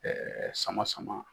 sama sama.